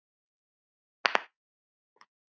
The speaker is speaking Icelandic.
Þín Marta.